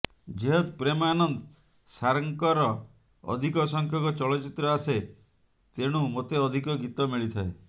ଯେହେତୁ ପ୍ରେମ ଆନନ୍ଦ ସାର୍ଙ୍କର ଅଧିକ ସଂଖ୍ୟକ ଚଳଚ୍ଚିତ୍ର ଆସେ ତେଣୁ ମୋତେ ଅଧିକ ଗୀତ ମିଳିଥାଏ